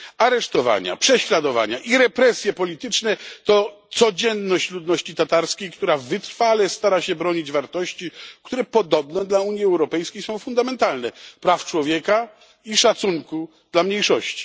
Aresztowania, prześladowania i represje polityczne to codzienność ludności tatarskiej, która wytrwale stara się bronić wartości, które podobno dla Unii Europejskiej są fundamentalne praw człowieka i szacunku dla mniejszości.